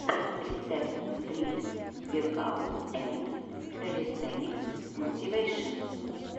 рецепт стрит векаут энд кэлистэникс мотивэйшен